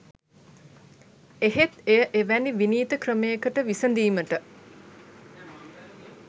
එහෙත් එය එවැනි විනීත ක්‍රමයකට විසඳීමට